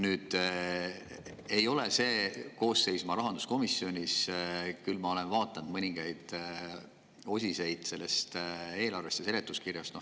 Nüüd, ma selles koosseisus ei ole rahanduskomisjonis, küll ma olen vaadanud mõningaid osi sellest eelarvest ja seletuskirjast.